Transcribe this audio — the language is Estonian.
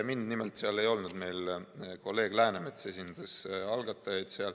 Mind seal ei olnud, seal kolleeg Läänemets esindas algatajaid.